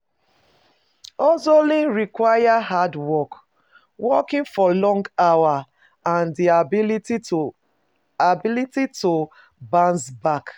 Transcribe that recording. Hustling require hard work, working for long hours and di ability to ability to bounce back